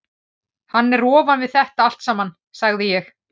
Hann er ofan við þetta allt saman, sagði ég.